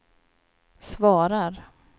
svarar